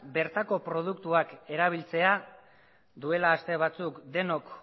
bertako produktuak erabiltzea duela aste batzuk denok